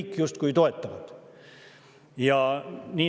Nad kõik justkui toetavad seda.